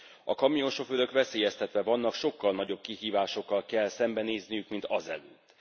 A kamionsofőrök veszélyeztetve vannak, sokkal nagyobb kihívásokkal kell szembenézniük, mint azelőtt.